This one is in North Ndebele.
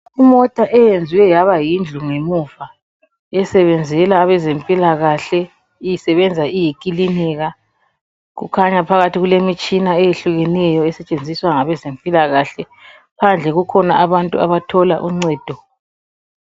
Imota eyenziwe yaba yindlu ngemuva esebenzela abezempilakahle isebenza iyikilinika. Kukhanya phakathi kulemtshina eyehlukeneyo esetshenziswa ngabe zempilakahle. Phandle kukhona abantu abathola uncedo.